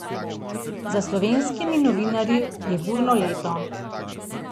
Za slovenskimi novinarji je burno leto.